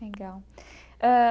Legal ãh.